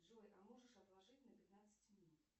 джой а можешь отложить на пятнадцать минут